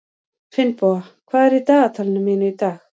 Finnboga, hvað er á dagatalinu mínu í dag?